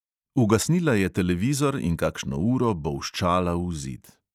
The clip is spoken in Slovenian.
Ugasnila je televizor in kakšno uro bolščala v zid.